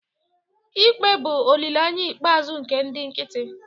ikpe bụ olileanya ikpeazụ nke ndị nkịtị